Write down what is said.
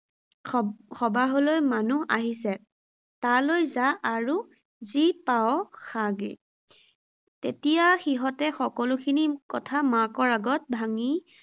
সবা সবাহলৈ মানুহ আহিছে, তালৈ যা আৰু যি পাৱ খাগে। তেতিয়া সিহঁতে সকলো খিনি কথা মাকৰ আগত ভাঙি